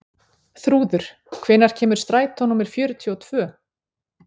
Þrúður, hvenær kemur strætó númer fjörutíu og tvö?